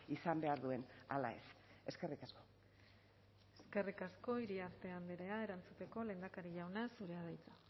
izan behar duen ala ez eskerrik asko eskerrik asko iriarte andrea erantzuteko lehendakari jauna zurea da hitza